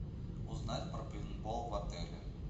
узнать про пейнтбол в отеле